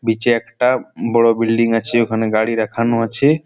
বিচে একটা বড়ো বিল্ডিং আছে ওখানে গাড়ি রাখানো আছে।